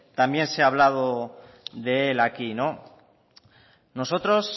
también se hablado de él aquí nosotros